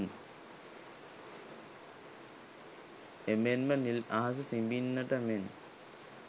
එමෙන්ම නිල් අහස සිඹින්නට මෙන්